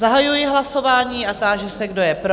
Zahajuji hlasování a táži se, kdo je pro?